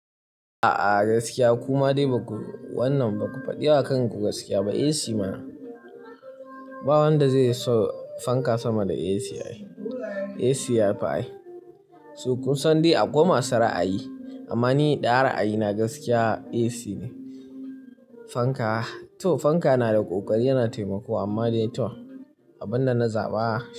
A'a gaskiya kuma dai ba ku wannan ba ku faɗi wa kan ku gaskiya ba. AC mana, ba wanda zai so fanka sama da AC ayi. AC yafi ai. So, kunsan dai akwai masu ra'ayi amma ni da ara ayina gaskiya AC ne. Fanka, to fanka na da ƙoƙari yana taimako amma dai to, abunda na zaɓa.